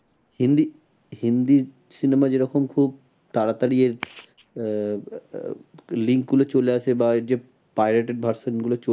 Hindi, Hindi cinema যেরকম খুব তাড়াতাড়ি আহ link গুলো চলে আসে বা যে pirated version গুলো